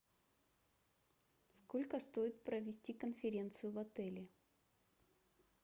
сколько стоит провести конференцию в отеле